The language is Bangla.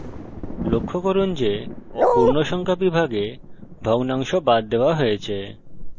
লক্ষ্য করুন যে পূর্ণসংখ্যা বিভাগে ভগ্নাংশ বাদ দেওয়া হয়েছে